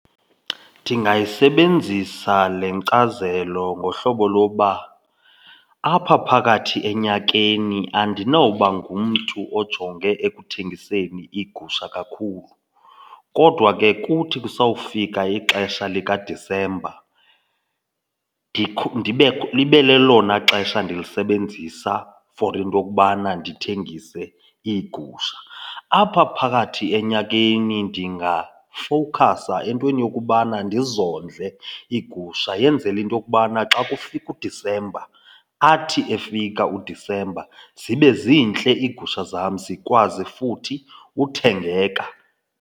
Ndingayisebenzisa le nkcazelo ngohlobo loba apha phakathi enyakeni andinoba ngumntu ojonge ekuthengiseni iigusha kakhulu kodwa ke kuthi kusawufika ixesha likaDisemba ibe lelona xesha ndilisebenzisa for into yokubana ndithengise iigusha. Apha phakathi enyakeni ndingafowukhasa entweni yokubana ndizondle iigusha yenzele into yokubana xa kufika uDisemba, athi efika uDisemba zibe zintle iigusha zam zikwazi futhi uthengeka.